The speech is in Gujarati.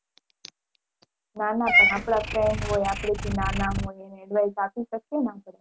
ના ના પણ આપડા friend હોય આપડે થી નાના હોય એને advice આપી શકીએ ને આપડે.